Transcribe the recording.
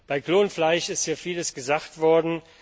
Bei Klonfleisch ist ja vieles gesagt worden.